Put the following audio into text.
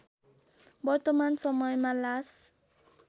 वर्तमान समयमा लास